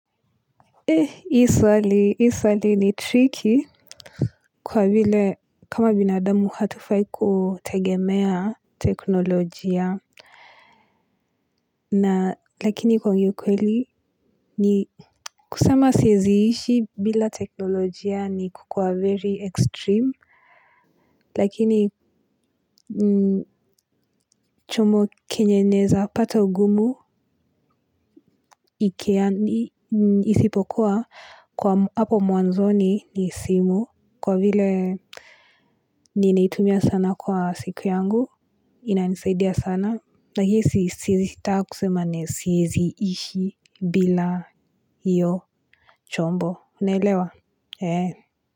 Eh, hii swali, hii swali ni tricky kwa vile kama binadamu hatufai kutegemea teknolojia na lakini kwa kweli ni kusema siezi ishi bila teknolojia ni kukua very extreme lakini chumo kenye neza pata ugumu isipokuwa kwa hapo muanzoni ni simu kwa vile ninaitumia sana kwa siku yangu. Inanisaidia sana. Na hii siezi taka kusema siezi ishi bila hio chombo, unaelewa, eeh.